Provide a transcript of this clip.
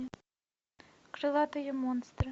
крылатые монстры